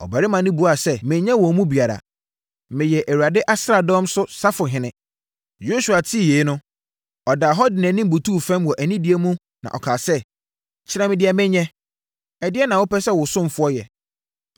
Na ɔbarima no buaa sɛ, “Menyɛ wɔn mu biara, meyɛ Awurade asraadɔm so safohene.” Yosua tee yei no, ɔdaa hɔ de nʼanim butuu fam wɔ anidie mu na ɔkaa sɛ, “Kyerɛ me deɛ menyɛ, ɛdeɛn na wopɛ sɛ wo ɔsomfoɔ yɛ?”